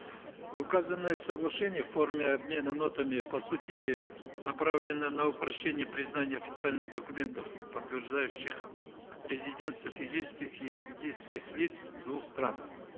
указанное соглашение в форме обмена нотами по сути направлено на упрощение признания официальных документов подтверждающих резидентство физических и юридических лиц двух стран